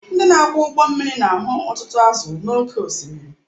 Ndị na-akwọ ụgbọ mmiri na-ahụ ọtụtụ azụ̀ n’oké osimiri